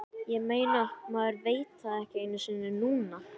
Ég meina, maður veit það ekki einu sinni núna.